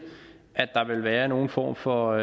at der vil være nogen form for